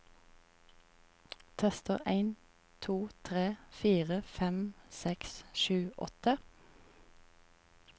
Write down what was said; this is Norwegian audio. Tester en to tre fire fem seks sju åtte